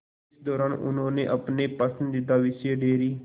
इस दौरान उन्होंने अपने पसंदीदा विषय डेयरी